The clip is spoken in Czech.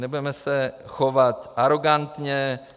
Nebudeme se chovat arogantně.